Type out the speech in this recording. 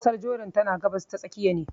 Kasar Jordan tana gabas ta tsakiya ne.